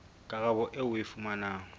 karabo eo o e fumanang